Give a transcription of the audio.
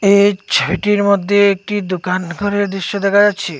এই ছবিটির মদ্যে একটি দুকান ঘরের দৃশ্য দেখা যাচ্ছে।